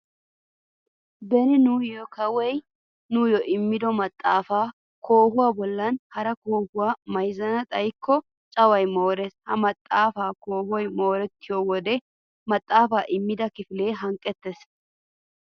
Beni nuuni kawoy nuyyo immido maxxaafaa koohuwa bollan hara koohuwaa mayzzana xayikko caway moorees. Ha maxaafaa koohoy moorettiyoo wodiyan maxxaafaa immida kifilee hanqqettees.